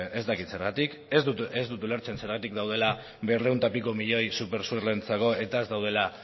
ez dakit zergatik ez dut ulertzen zergatik daudela berrehun eta piko milioi supersur entzako eta ez daudela